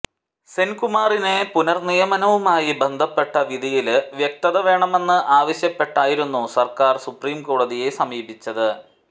സെന്കുമാറിനെ പുനര്നിയമനവുമായി ബന്ധപ്പെട്ട വിധിയില് വ്യക്തത വേണമെന്ന് ആവശ്യപ്പെട്ടായിരുന്നു സര്ക്കാര് സുപ്രീം കോടതിയെ സമീപിച്ചത്